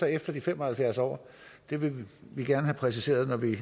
efter de fem og halvfjerds år det vil vi gerne have præciseret når vi